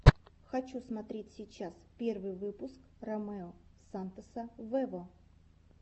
хочу смотреть сейчас первый выпуск ромео сантоса вево